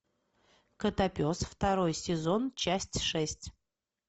котопес второй сезон часть шесть